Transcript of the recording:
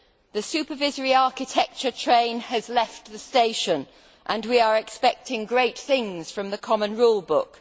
The supervisory architecture train has left the station and we are expecting great things from the common rule book.